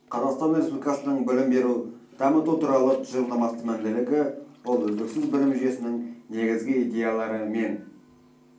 қазақстан республикасының білім беру дамыту туралы тұжырымдамасының басты мәнділігі ол үздіксіз білім жүйесінің негізгі идеялары мен